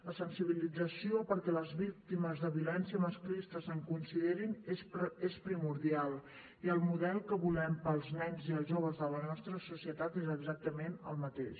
la sensibilització perquè les víctimes de violència masclista se’n considerin és primordial i el model que volem pels nens i els joves de la nostra societat és exactament el mateix